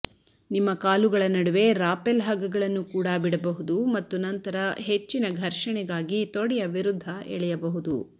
ನಿಮ್ಮ ಕಾಲುಗಳ ನಡುವೆ ರಾಪೆಲ್ ಹಗ್ಗಗಳನ್ನು ಕೂಡಾ ಬಿಡಬಹುದು ಮತ್ತು ನಂತರ ಹೆಚ್ಚಿನ ಘರ್ಷಣೆಗಾಗಿ ತೊಡೆಯ ವಿರುದ್ಧ ಎಳೆಯಬಹುದು